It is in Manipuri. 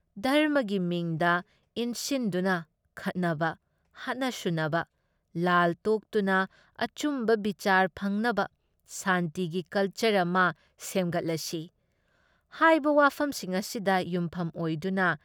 ꯙꯔꯝꯃꯒꯤ ꯃꯤꯡꯗ ꯏꯟꯁꯤꯟꯗꯨꯅ ꯈꯠꯅꯕ, ꯍꯥꯠꯅ ꯁꯨꯅꯕ, ꯂꯥꯜ ꯇꯣꯛꯇꯨꯅ ꯑꯆꯨꯝꯕ ꯕꯤꯆꯥꯔ ꯐꯪꯅꯕ ꯁꯥꯟꯇꯤꯒꯤ ꯀꯜꯆꯔ ꯑꯃ ꯁꯦꯝꯒꯠꯂꯁꯤ" ꯍꯥꯏꯕ ꯋꯥꯐꯝꯁꯤꯡ ꯑꯁꯤꯗ ꯌꯨꯝꯐꯝ ꯑꯣꯏꯗꯨꯅ